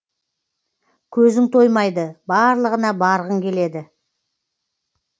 көзің тоймайды барлығына барғың келеді